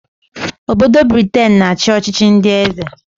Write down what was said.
Obodo Briten na-achị ọchịchị ndị eze